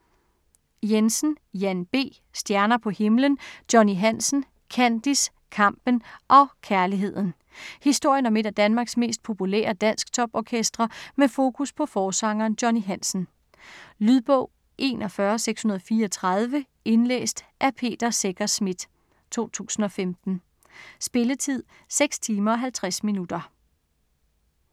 Jensen, Jan B.: Stjerner på himlen: Johnny Hansen - Kandis, kampen og kærligheden Historien om et af Danmarks mest populære dansktop-orkestre, med fokus på forsangeren Johnny Hansen. Lydbog 41634 Indlæst af Peter Secher Schmidt, 2015. Spilletid: 6 timer, 50 minutter.